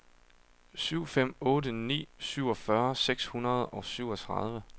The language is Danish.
syv fem otte ni syvogfyrre seks hundrede og syvogtredive